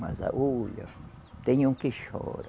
Mas a olha, tem um que chora.